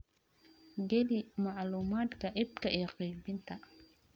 Geli macluumaadka iibka iyo qaybinta.